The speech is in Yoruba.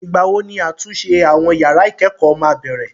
Ìgbàwo ni àtúnṣe àwọn yàrá ìkẹ́kọ̀ọ́ máa bẹ̀rẹ̀?